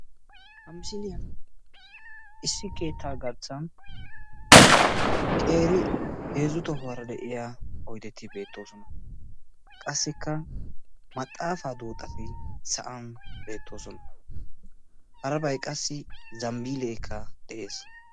Ha misiliyan issi keettaa garssan qeeri heezzu tohuwara de'iya oydeti beettoosona. Qassikka maxaafaa duuxati sa'an beettoosona. Harabay qassi ambbiilleekka de'ees.